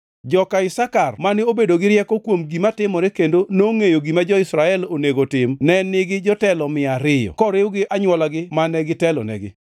joka Isakar mane obedo gi rieko kuom gima timore kendo nongʼeyo gima jo-Israel onego otim ne nigi jotelo mia ariyo (200) koriw gi anywolagi mane gitelonegi;